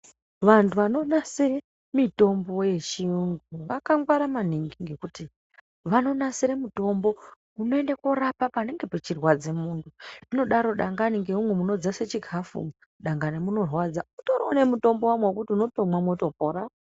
Vantu vanonasire mitombo yechiyungu vakangwara maningi ngekuti vanonasira mutombo unoende kurapa panenge pachirwadza muntu zvinodaro dangani ngeumu munodzasa chikafu umu dangani munorwadza mutoriwo nemutombo wamwo wekuti unotomwa motopora.